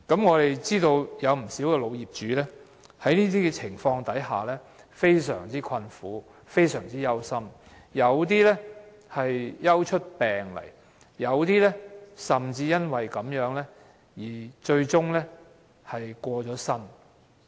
我們知道有不少老業主在這些情況下，感到非常困苦、非常憂心，有些更憂出病來，甚至因此而最終過身。